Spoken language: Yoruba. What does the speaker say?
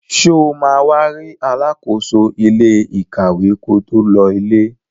Sọ ma wá rí alákóso ilé ìkàwé ko tó lọ ilé?